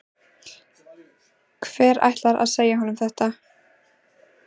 Hver ætlar að segja honum þetta?